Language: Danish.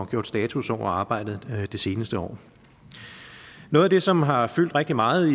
gjort status over arbejdet det seneste år noget af det som har fyldt rigtig meget